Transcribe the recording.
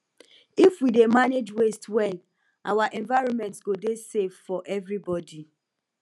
if we dey manage waste well our environment go dey safe for everybody